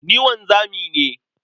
Ni wanzami ne.